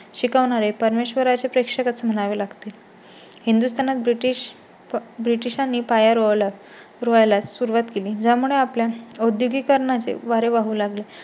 शिकवणारे परमेश्वरा ची प्रेक्षकच म्हणावी लागतील. हिंदुस्थानात ब्रिटिश, ब्रिटिशां नी पाया रोवला रोवायला सुरुवात केली. ज्या मुळे आपल्या औद्योगिकीकरणाचे वारे वाहू लागेल